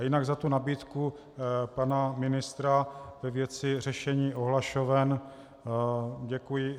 A jinak za tu nabídku pana ministra ve věci řešení ohlašoven děkuji.